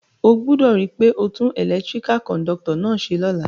O gbúdò ri pe o tun electrical conductor náà se lóla